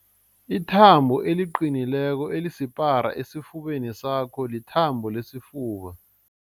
Ithambo eliqinileko elisipara esifubeni sakho lithambo lesifuba.